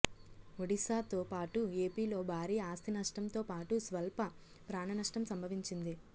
ఒడిశాతో పాటు ఏపీలో భారీ ఆస్తి నష్టంతో పాటు స్వల్ప ప్రాణ నష్టం సంభవించింది